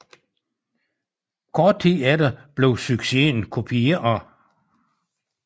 Kort tid efter blev succesen kopieret